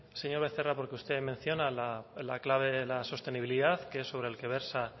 señor becerra porque usted menciona la clave de la sostenibilidad que es sobre el que versa